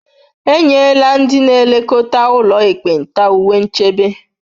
E nyela ndị na-elekọta ụlọ ekpenta uwe nchebe